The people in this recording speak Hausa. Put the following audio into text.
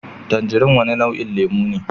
Tanjirin wani nau'in lemu ne